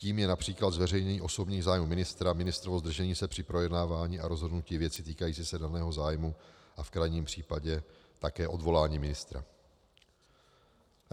Tím je například zveřejnění osobních zájmů ministra, ministrovo zdržení se při projednávání a rozhodnutí věci týkající se daného zájmu a v krajním případě také odvolání ministra.